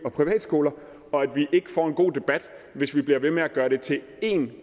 og privatskoler og at vi ikke får en god debat hvis vi bliver ved med at gøre det til en